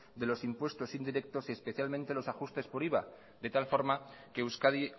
de los impuestos indirectos y especialmente los ajustes por iva de tal forma que euskadi